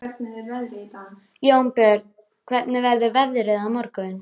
Jónbjörg, hvernig er veðrið á morgun?